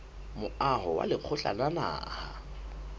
moaho wa lekgotla la naha